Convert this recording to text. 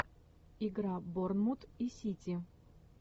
игра борнмут и сити